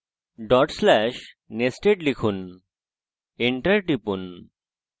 dot slash /nested লিখুন enter টিপুন